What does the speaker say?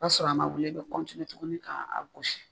K'a sɔrɔ a ma wele a bɛ tuguni k'a gosi